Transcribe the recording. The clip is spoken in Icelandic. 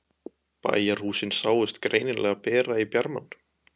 Bæjarhúsin sáust greinilega bera í bjarmann.